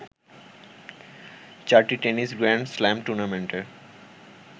চারটি tennis grand slam টুর্নামেন্টের